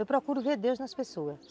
Eu procuro ver Deus nas pessoas.